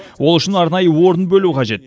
ол үшін арнайы орын бөлу қажет